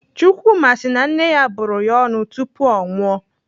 Chukwuma si na nne ya bụrụ ya ọnụ tupu o nwụọ.